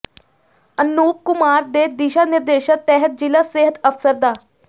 ਅਨੂਪ ਕੁਮਾਰ ਦੇ ਦਿਸ਼ਾ ਨਿਰਦੇਸ਼ਾਂ ਤਹਿਤ ਜ਼ਿਲ੍ਹਾ ਸਿਹਤ ਅਫ਼ਸਰ ਡਾ